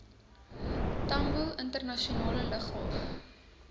tambo internasionale lughawe